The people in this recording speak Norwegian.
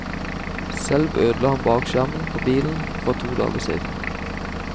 Selv ødela han bakskjermen på bilen for to dager siden.